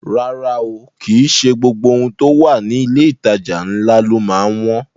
Rárá o, kìí ṣe gbogbo ohun tó wà ní ilé ìtajà ńlá ló má ń wọ́n